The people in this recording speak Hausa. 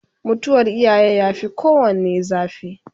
mutuwar iyaye ya Fi kowanne zafi